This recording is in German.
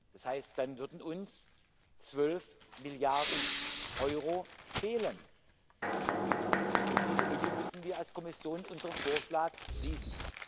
Das heißt, dann würden uns zwölf Milliarden Euro fehlen, und diese Lücke müssen wir als Kommission mit unserem Vorschlag schließen.